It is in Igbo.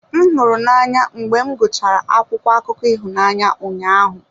M hụrụ n'anya mgbe m gụchara akwụkwọ akụkọ ịhụnanya ụnyahụ.